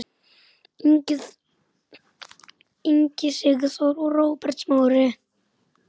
Ingi Sigþór og Róbert Smári.